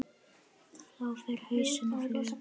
Þá fer hausinn á flug.